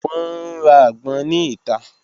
Wọn n ra agbon ni ita.